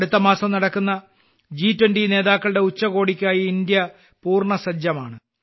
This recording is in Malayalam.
അടുത്തമാസം നടക്കുന്ന ജി20 നേതാക്കളുടെ ഉച്ചകോടിക്കായി ഇന്ത്യ പൂർണസജ്ജമാണ്